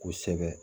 Kosɛbɛ